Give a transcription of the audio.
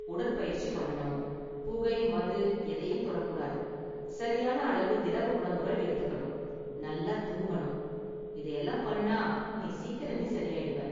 உடற்பயிற்சி பண்ணனும், புகை, மது எதையும் தொடக் கூடாது, சரியான அளவு திரவ உணவுகள் எடுத்துக்கணும், நல்லா தூங்கணும், இதை எல்லாம் பண்ணுனா நீ சீக்கிரமே சரியாயிடுவ.